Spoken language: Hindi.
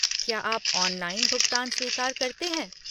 क्या आप ऑनलाइन भुगतान स्वीकार करते हैं?